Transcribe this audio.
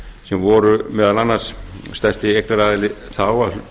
sem voru meðal annars stærsti eignaraðili þá að